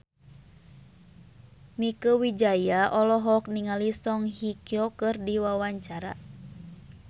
Mieke Wijaya olohok ningali Song Hye Kyo keur diwawancara